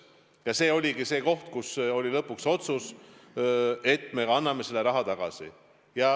Ja see oligi see koht, kus oli lõpuks otsus, et me kanname selle raha tagasi.